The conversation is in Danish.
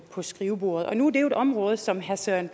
på skrivebordet og nu er det jo et område som herre søren